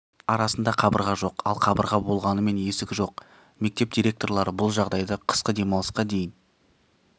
арасында қабырға жоқ ал қабырға болғанымен есік жоқ мектеп директорлары бұл жағдайды қысқы демалысқа дейін